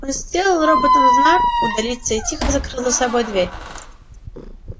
он сделал роботам знак удалиться и тихо закрыл за собой дверь